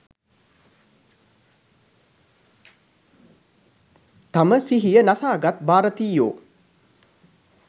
තම සිහිය නසාගත් භාරතීයයෝ